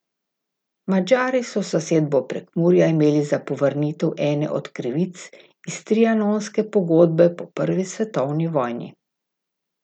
Madžari so zasedbo Prekmurja imeli za povrnitev ene od krivic iz trianonske pogodbe po prvi svetovni vojni.